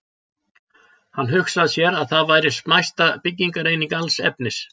Hann hugsaði sér að það væri smæsta byggingareining alls efnis.